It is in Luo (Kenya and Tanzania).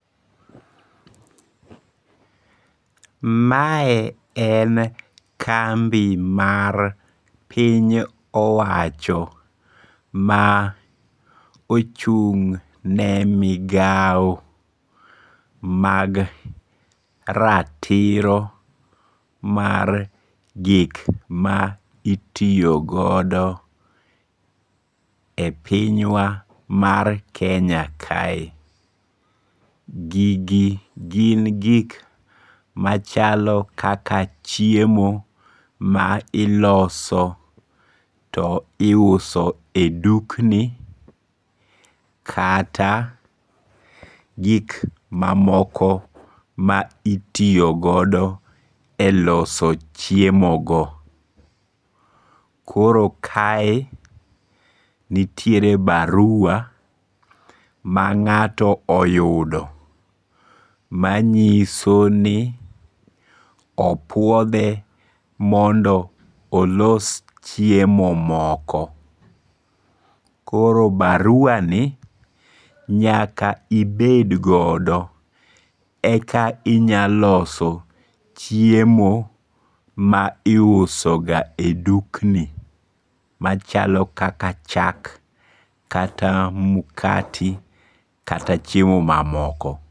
Mae en kambi mar piny owacho ma ochung'ne migao mag maratiro mar gik ma itiyo godo e pinywa mar Kenya kae, gigi gin gik machalo kaka chiemo ma iloso to iuse e dukni kata gik mamoko ma itiyogodo e loso chiemogo, koro kae nitiere barua manga'to oyudo manyiso ni opuothe mondo olos chiemo moko, koro baruani nyaka ibed godo eka inya loso chiemo ma iuso ga e dukni machalo kaka chak kata mkati kata chiemo mamoko